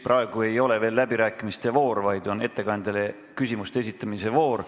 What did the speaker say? Praegu ei ole veel läbirääkimiste voor, vaid ettekandjale küsimuste esitamise voor.